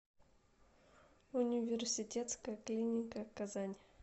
университетская клиника казань